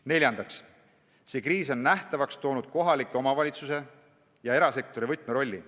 Neljandaks, see kriis on nähtavaks toonud kohaliku omavalitsuse ja erasektori võtmerolli.